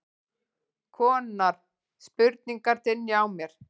konar spurningar dynja á mér.